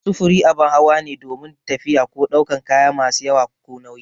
Sufuri abin hawa ne domin tafiya ko daukan kaya masu yawa ko nauyi